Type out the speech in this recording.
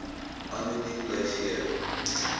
anoniem bly gee